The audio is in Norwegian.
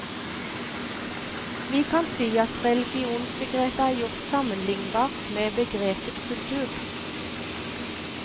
Vi kan si at religionsbegrepet er gjort sammenlignbart med begrepet kultur.